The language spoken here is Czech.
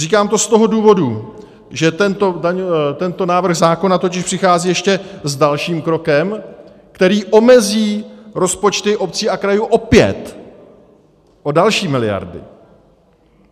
Říkám to z toho důvodu, že tento návrh zákona totiž přichází ještě s dalším krokem, který omezí rozpočty obcí a krajů opět o další miliardy.